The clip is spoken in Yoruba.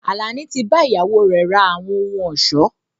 Àlàní tí bá ìyàwó rẹ ra àwọn ohùn ọ̀ṣọ́